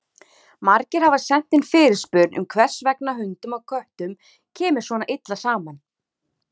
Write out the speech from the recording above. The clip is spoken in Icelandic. Margir hafa sent inn fyrirspurn um hvers vegna hundum og köttum kemur svona illa saman.